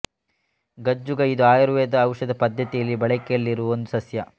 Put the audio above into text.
ಗಜ್ಜುಗ ಇದು ಆಯುರ್ವೇದ ಔಷಧ ಪದ್ಧತಿಯಲ್ಲಿ ಬಳಕೆಯಲ್ಲಿರುವ ಒಂದು ಸಸ್ಯ